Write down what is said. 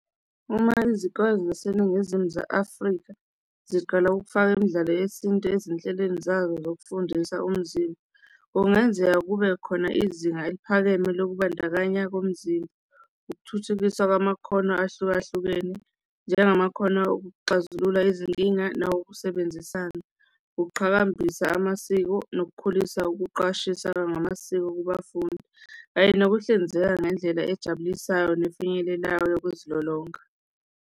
Uma izikole zaseNingizimu ze-Afrika ziqala ukufaka imdlalo yesintu ezinhlelweni zayo zokufundisa umzimba, kungenzeka kube khona izinga eliphakeme lokubandakanya komzimba. Ukuthuthukiswa kwamakhono ahlukahlukene njengamakhono okuxazulula izinkinga nawokusebenzisana, ukuqhakambisa amasiko nokukhulisa ukuqwashisa ngamasiko kubafundi kanye nokuhlinzeka ngendlela ejabulisayo nefinyelelayo yokuzilolonga.